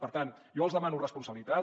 per tant jo els demano responsabilitat